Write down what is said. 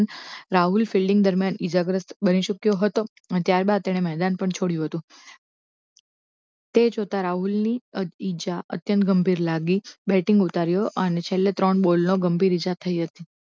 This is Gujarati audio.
રાહુલ fielding દરમિયાન ઇજાગ્રસ્ત બની શક્યો હતો અને ત્યારબાદ તેને મેદાન પણ છોડ્યું હતું તે જોતા રાહુલની ઇજા અત્યંત ગંભીર લાગી batting ઉતાર્યો અને છેલ્લે ત્રણ ball નો ગંભીર ઈજા થઈ હતી